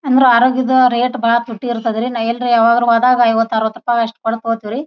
ಅಂದ್ರೆ ಆರೋಗ್ಯದ ರೇಟ್ ಬಹಳ ಪುಟ್ಟಿ ಇರುತ್ತೆ. ನಾವು ಯಾವಾಗನ ಹೋದ್ರೆ ಐವತ್ ಅರ್ವಥ್ ರೂಪಾಯಿ ಕೊಡ್ತಾರಿ.